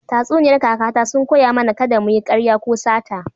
Tatsuniyar kakata sun koya mana kada mu yi ƙarya ko sata.